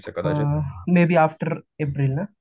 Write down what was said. may be after April ना